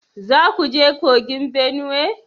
Za ku je kogin Benue?